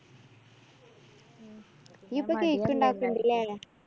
നീയിപ്പോ cake ണ്ടാക്കണ്ണ്ട് അല്ലേ?